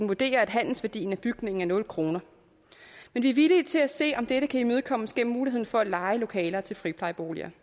vurderer at handelsværdien af bygningen er nul kroner men vi er villige til at se om dette kan imødekommes gennem muligheden for at leje lokaler til friplejeboliger